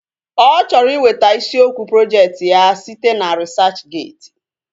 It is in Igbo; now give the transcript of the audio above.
Ọ chọrọ iweta isiokwu projekti ya site na risachgeeti